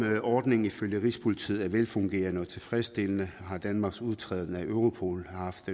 ordningen ifølge rigspolitiet er velfungerende og tilfredsstillende har danmarks udtræden af europol haft